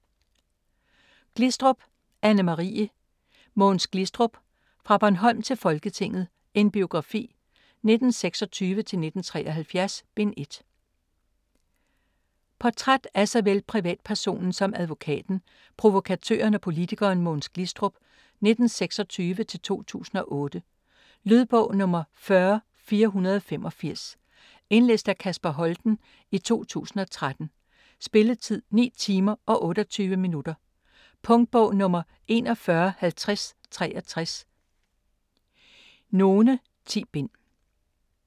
Glistrup, Anne-Marie: Mogens Glistrup: Fra Bornholm til Folketinget: en biografi - 1926-1973: Bind 1 Portræt af såvel privatpersonen som advokaten, provokatøren og politikeren Mogens Glistrup (1926-2008). . Lydbog 40485 Indlæst af Kasper Holten, 2013. Spilletid: 9 timer, 28 minutter. Punktbog 415063 none. 10 bind.